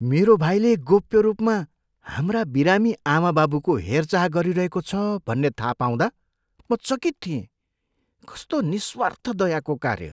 मेरो भाइले गोप्य रूपमा हाम्रा बिरामी आमाबाबुको हेरचाह गरिरहेको छ भन्ने थाहा पाउँदा म चकित थिएँ। कस्तो निस्वार्थ दयाको कार्य!